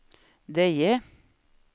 Deje